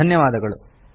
ಧನ್ಯವಾದಗಳು